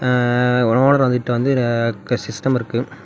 ஆ owner வந்து கிட்ட வந்து க சிஸ்டம் இருக்கு.